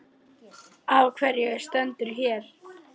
Lóa: Af hverju stendurðu hér?